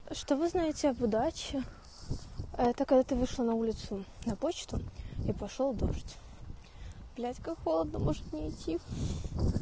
что вы знаете об удаче это когда ты вышла на улицу на почту и пошёл дождь блять как холодно может не идти